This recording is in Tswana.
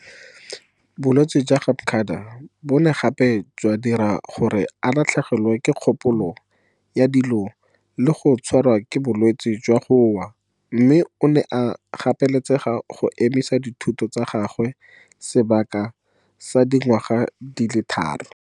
Bolwetse jwa ga Makda bo ne gape jwa dira gore a latlhegelwe ke kgopolo ya dilo le go tshwarwa ke bolwetse jwa go wa mme o ne a gapeletsega go emisa dithuto tsa gagwe sebaka sa dingwaga di le tharo.